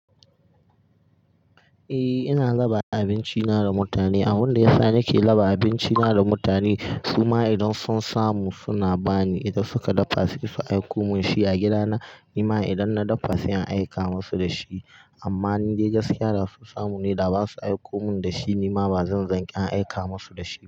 Eh ina raba abinci na da mutane. Abin da ya sa nake raba abinci na da mutane su ma idan sun samu suna bani, idan suka dafa sai su aiko min shi a gida na. Ni ma idan na dafa sai in aika musu da shi. Amma in dai gaskiya da su samu ne da ba su aiko mun da shi ni ma ba zan zanƙi in aika musu da shi.